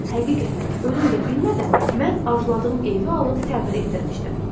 Həqiqətən, özüm də bilmədən, mən arzuladığım evi alıb təmir etdirmişdim.